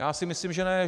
Já si myslím že ne.